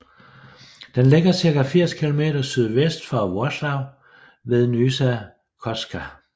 Den ligger cirka 80 kilometer sydvest for Wrocław ved Nysa Kłodzka